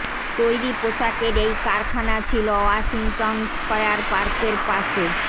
তৈরি পোশাকের এই কারখানা ছিল ওয়াশিংটন স্কয়ার পার্কের পাশে